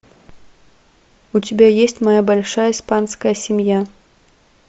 у тебя есть моя большая испанская семья